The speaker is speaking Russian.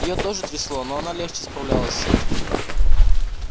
её тоже трясло но она легче справлялась с этим